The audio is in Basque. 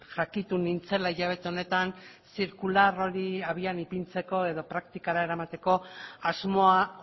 jakitun nintzela hilabete honetan zirkular hori habian ipintzeko edo praktikara eramateko asmoa